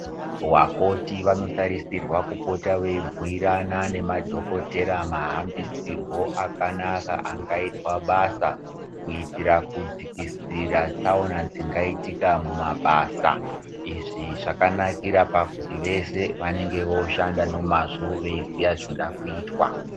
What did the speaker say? Vakoti vanotarisirwa kupota veibhuyirana nemadhokodheya mahambisirwo akanaka angaitwa basa kuitira kudzikisira tsaona dzingaiitika mumabasa izvi zvakanakira pakuti vese vanenge vakushanda nemazvo vachiziva zvinoda kuitwa.